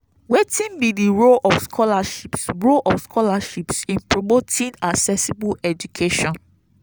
wetin be di role of scholarships role of scholarships in promoting accessible education?